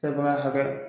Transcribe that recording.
hakɛ